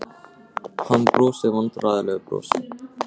Hann brosir vandræðalegu brosi.